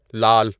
لال